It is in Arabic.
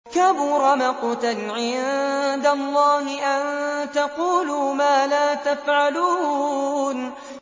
كَبُرَ مَقْتًا عِندَ اللَّهِ أَن تَقُولُوا مَا لَا تَفْعَلُونَ